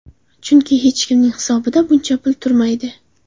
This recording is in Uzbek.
Chunki hech kimning hisobida buncha pul turmaydi.